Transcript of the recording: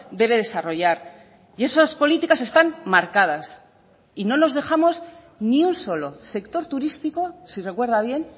debe desarrollar y esas políticas están marcadas y no nos dejamos ni un solo sector turístico si recuerda bien